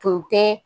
Tun tɛ